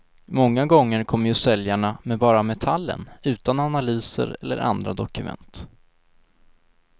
Många gånger kommer ju säljarna med bara metallen, utan analyser eller andra dokument.